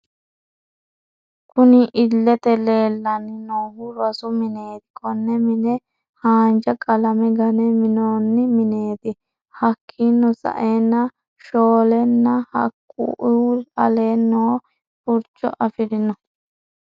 Kunni illete leelani noohu rosu mineeti konne mine haanja qalame gane minoonni mineeti hakiino sa'eena shoolena haku'i alee noo furicho afirino.